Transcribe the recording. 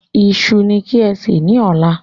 Iṣu ní kí ẹ sè ni ọ̀la